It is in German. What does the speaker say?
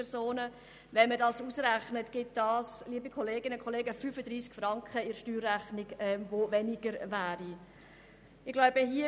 Der Kanton Bern verfügt über rund 800 000 Steuerzahlende, also juristische und natürliche Personen.